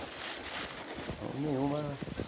Então, nenhuma.